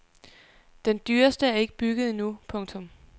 Den dyreste er ikke bygget endnu. punktum